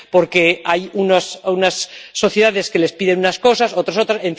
Porque hay unas sociedades que les piden unas cosas, otros otras...